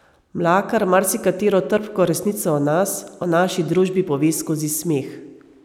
Mlakar marsikatero trpko resnico o nas, o naši družbi pove skozi smeh.